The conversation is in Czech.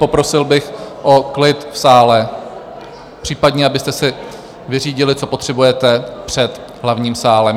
Poprosil bych o klid v sále, případně abyste si vyřídili, co potřebujete, před hlavním sálem.